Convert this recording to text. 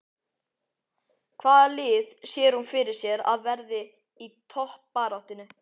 Hvaða lið sér hún fyrir sér að verði í toppbaráttunni?